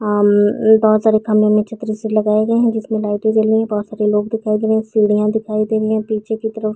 आम बहुत सारे खम्बे में छतरी सी लगाए गए है जिस में लाइटे जल रही है। बहुत सारे लोग दिखाई दे रहे है सीढ़ीयां दिखाई दे रही है पीछे की तरफ--